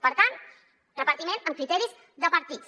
per tant repartiment amb criteris de partits